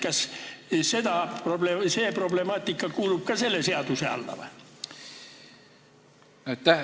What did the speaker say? Kas see problemaatika kuulub ka selle seaduse alla?